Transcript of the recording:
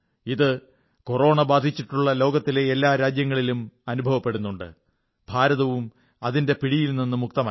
ഇത് കൊറോണ ബാധിച്ചിട്ടുള്ള ലോകത്തിലെ എല്ലാ രാജ്യങ്ങളിലും അനുഭവപ്പെടുന്നുണ്ട് ഭാരതവും അതിന്റെ പിടിയിൽ നിന്ന് മുക്തമല്ല